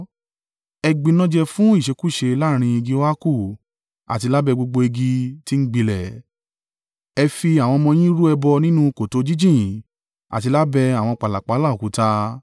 Ẹ gbinájẹ fún ìṣekúṣe láàrín igi óákù àti lábẹ́ gbogbo igi tí ń gbilẹ̀; ẹ fi àwọn ọmọ yín rú ẹbọ nínú kòtò jíjìn àti lábẹ́ àwọn pàlàpálá òkúta.